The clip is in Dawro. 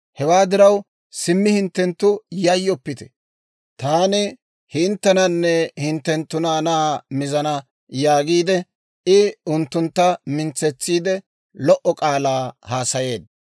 Hewaa diraw simmi hinttenttu yayyoppite; taani hinttenanne hinttenttu naanaa mizana» yaagiide, I unttuntta mintsetsiide lo"o k'aalaa haasayeedda.